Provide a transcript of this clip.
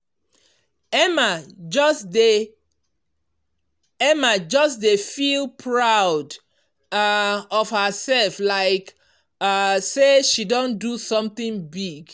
emma just dey emma just dey feel proud um of herself like um say she don do something big.